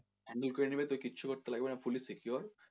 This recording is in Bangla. handle করে নেবে তোকে কিছু করতে লাগবে না fully secured